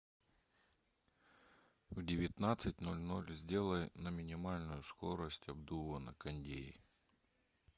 в девятнадцать ноль ноль сделай на минимальную скорость обдува на кондее